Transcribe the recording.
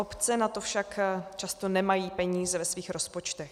Obce na to však často nemají peníze ve svých rozpočtech.